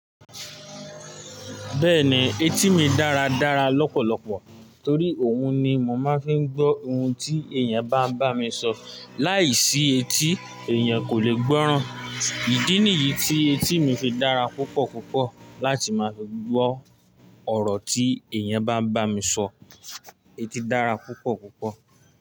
Bẹ́ẹ̀ni, etí mi dára dára lọ́pọ̀lọpọ̀ torí òun ni mo máa ń fi ń gbọ́ ohun tí èèyàn bá ń bá mi sọ̀ láìsí etí èèyàn kò lè gbọ́ran. Ìdí nìyí tí etí fi dára púpọ̀ púpọ̀ láti máa fi gbọ́ ọ̀rọ̀ tí èèyàn bá ń bá mi sọ̀. Etí dára púpọ̀ púpọ̀